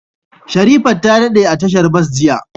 Sherifat ta dade a tashar bas jiya.